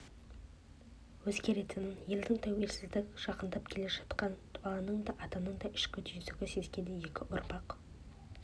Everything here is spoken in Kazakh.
дейді бала қала астана болады дейді нағашысы бала сұрақты тоқтатып далаға қараған күйі ойланып қалады заманның